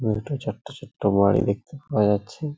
দুটো চারটে ছোট্ট বাড়ি দেখতে পাওয়া যাচ্ছে।